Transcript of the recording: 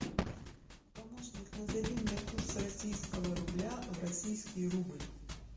помощник назови мне курс российского рубля в российский рубль